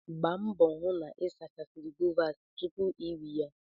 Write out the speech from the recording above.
Gbaa mbọ hụ na ị sachara guavas tupu iri ya!